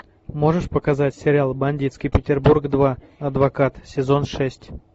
можешь показать сериал бандитский петербург два адвокат сезон шесть